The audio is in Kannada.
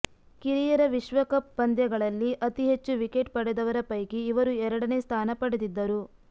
ಕಿರಿಯರ ವಿಶ್ವಕಪ್ ಪಂದ್ಯಗಳಲ್ಲಿ ಅತಿ ಹೆಚ್ಚು ವಿಕೆಟ್ ಪಡೆದವರ ಪೈಕಿ ಇವರು ಎರಡನೇ ಸ್ಥಾನ ಪಡೆದಿದ್ದರು